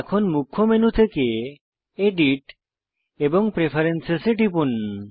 এখন মুখ্য মেনু থেকে এডিট এবং প্রেফারেন্স এ টিপুন